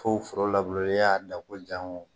Fo foro labure ya da ko jango